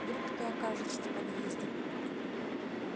вдруг кто окажется в подъезде